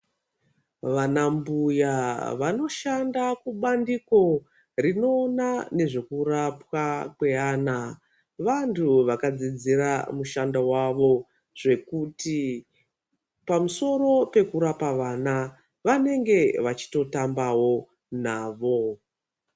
Vanambuya vanoshanda kubandiko rinoona nezvekurapwa kweaana vanhu vakadzidzira mushando vawo zvekuti pamusoro pekurapa vana vanenge vachitotambawo navo.